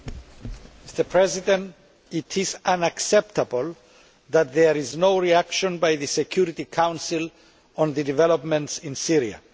Mr President, it is unacceptable that there is no reaction by the Security Council to the developments in Syria.